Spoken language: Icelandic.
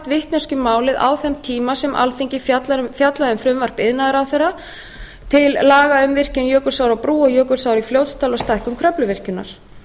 vitneskju um málið á þeim tíma sem alþingi fjallaði um frumvarp iðnaðarráðherra til laga um virkjun jökulsár á brú og jökulsá í fljótsdal og stækkun kröfluvirkjunar